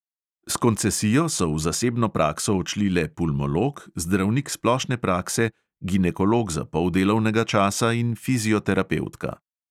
S koncesijo so v zasebno prakso odšli le pulmolog, zdravnik splošne prakse, ginekolog za pol delovnega časa in fizioterapevtka.